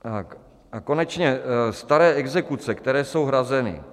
A konečně staré exekuce, které jsou hrazeny.